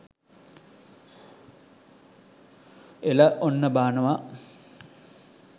එල ඔන්න බානව